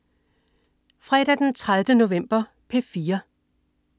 Fredag den 30. november - P4: